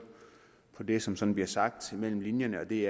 på det som som bliver sagt mellem linjerne og det